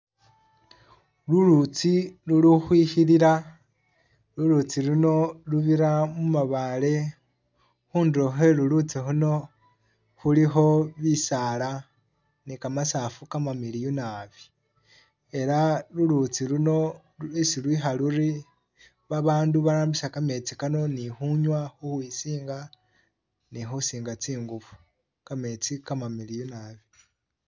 Lulutsi lulukhwilila lulutsi luno lubira mubaale khundulo khwe'lulutsi luno khulikho bisaala ne kamasafu kamamiliyu naabi, ela lulutsi luno isi lwikha luri, baabandu barambisa kametsi kano ni khunywa, khukhwisinga ni khusinga tsingubo, kametsi kamamiliyu naabi